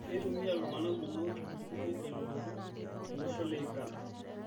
Keitumia ltung'ana kumok ltukutuki te lototo to losho le Uganda